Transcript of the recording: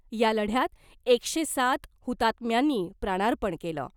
या लढ्यात एकशे सात हुतात्म्यांनी प्राणार्पण केलं .